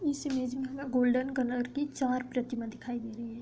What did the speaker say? इस इमेज में हमें गोल्डन कलर की चार प्रतिमा दिखाई दे रही हैं |